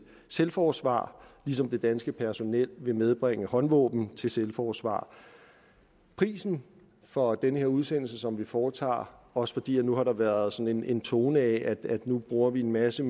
selvforsvar ligesom det danske personel vil medbringe håndvåben til selvforsvar prisen for den her udsendelse som vi foretager også fordi nu har der været sådan en tone af at nu bruger vi en masse